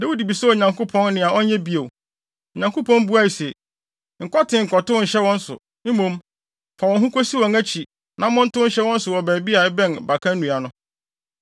Dawid bisaa Onyankopɔn nea ɔnyɛ bio. Onyankopɔn buae se, “Nkɔ tee nkɔtow nhyɛ wɔn so. Mmom, fa wɔn ho kosi wɔn akyi na montow nhyɛ wɔn so wɔ baabi a ɛbɛn baka nnua no.